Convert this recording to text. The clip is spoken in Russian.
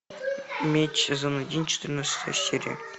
меч сезон один четырнадцатая серия